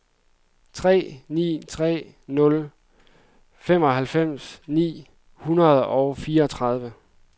tre ni tre nul femoghalvfems ni hundrede og fireogtredive